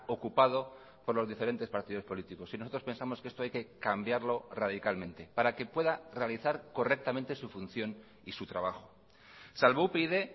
ocupado por los diferentes partidos políticos y nosotros pensamos que esto hay que cambiarlo radicalmente para que pueda realizar correctamente su función y su trabajo salvo upyd